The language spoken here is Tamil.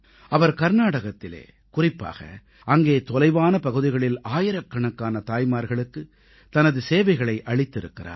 அவர் கர்நாடகத்திலே குறிப்பாக அங்கே தொலைவான பகுதிகளில் ஆயிரக்கணக்கான தாய்மார்களுக்குத் தனது சேவைகளை அளித்திருக்கிறார்